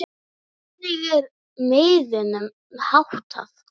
Hvernig er miðunum háttað?